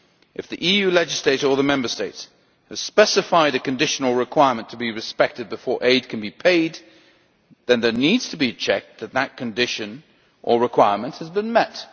If the EU legislator or the Member States has specified a conditional requirement to be respected before aid can be paid, then there needs to be a check that this condition or requirement has been met.